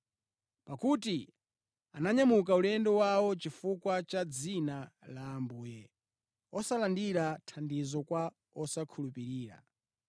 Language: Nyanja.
Pakuti ananyamuka ulendo wawo chifukwa cha dzina la Ambuye, osalandira thandizo kwa osakhulupirira.